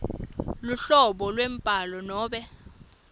luhlobo lwembhalo nobe